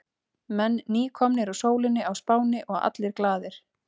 Menn nýkomnir úr sólinni á Spáni og allir glaðir.